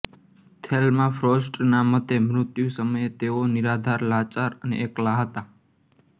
Thelma ફ્રોસ્ટના મતે મૃત્યુ સમયે તેઓ નિરાધાર લાચાર અને એકલા હતા